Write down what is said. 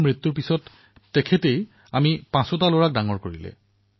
১৯৯০ চনত যেতিয়া মোৰ পিতৃৰ মৃত্যু হৈছিল তেতিয়া মোৰ মায়েই পাঁচোজন লৰা সন্তানৰ দায়িত্ব গ্ৰহণ কৰিছিল